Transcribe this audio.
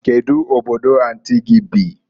Kedu Obodo anti gi bi?